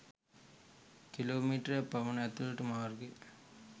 kilo මීටරයක් පමණ ඇතුළට මාර්ගය